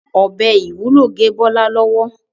ọbẹ IwUlO gé Bola lọwọ.